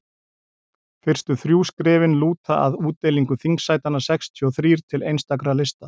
fyrstu þrjú skrefin lúta að útdeilingu þingsætanna sextíu og þrír til einstakra lista